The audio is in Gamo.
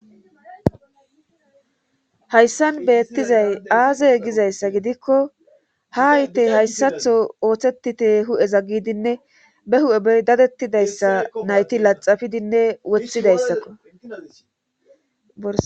hayssan beettizay aazey gizayssa gidikko ha aytey hayssatho oothetite hu7eza gidinne be hu7e bey dadettidayssa nayti laxafidinne wothidayssakko